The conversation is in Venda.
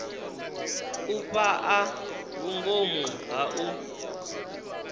u fhaa vhungomu ha u